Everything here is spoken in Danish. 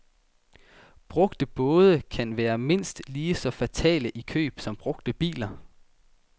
Brugte både kan være mindst lige så fatale i køb som brugte biler.